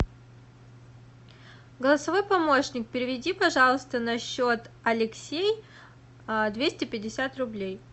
голосовой помощник переведи пожалуйста на счет алексей двести пятьдесят рублей